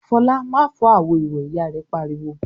"Fọlá má fọ́ àwo-ìwẹ̀!" Ìyá rẹ̀ pariwo.